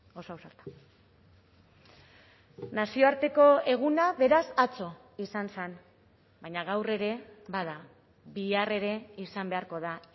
oso ausarta nazioarteko eguna beraz atzo izan zen baina gaur ere bada bihar ere izan beharko da